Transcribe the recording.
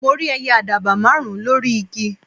mo rí ẹyẹ àdàbà márùn ùn lórí igi